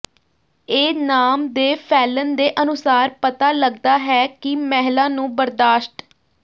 ਇਹ ਨਾਮ ਦੇ ਫੈਲਣ ਦੇ ਅਨੁਸਾਰ ਪਤਾ ਲੱਗਦਾ ਹੈ ਕਿ ਮਹਿਲਾ ਨੂੰ ਬਰਦਾਸ਼ਤ